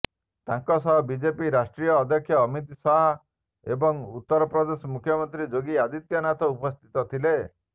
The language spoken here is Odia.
ତାଙ୍କ ସହିତ ବିଜେପି ରାଷ୍ଟ୍ରୀୟ ଅଧ୍ୟକ୍ଷ ଅମିତ ଶାହ ଏବଂ ଉତ୍ତର ପ୍ରଦେଶ ମୁଖ୍ୟମନ୍ତ୍ରୀ ଯୋଗୀ ଆଦିତ୍ୟନାଥ ଉପସ୍ଥିତ ଥିଲେ